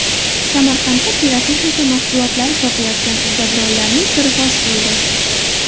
Samarqandda pirotexnika mahsulotlari sotayotgan uddaburonlarning siri fosh bo‘ldi.